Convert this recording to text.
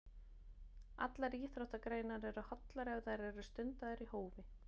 Allar íþróttagreinar eru hollar ef þær eru stundaðar í hófi.